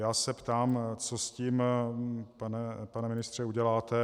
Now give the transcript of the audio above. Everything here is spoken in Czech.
Já se ptám, co s tím, pane ministře, uděláte.